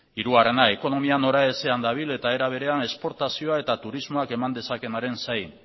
hirugarrena ekonomia noraezean dabil eta era berean esportazioa eta turismoak eman dezakeenaren zai